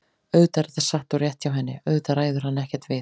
Auðvitað er þetta satt og rétt hjá henni, auðvitað ræður hann ekkert við